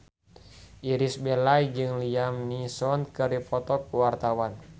Irish Bella jeung Liam Neeson keur dipoto ku wartawan